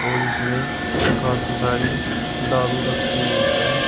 और इसमें काफी सारी दारू रखी हुई है।